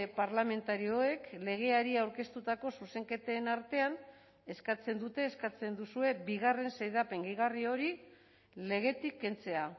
parlamentarioek legeari aurkeztutako zuzenketen artean eskatzen dute eskatzen duzue bigarren xedapen gehigarri hori legetik kentzea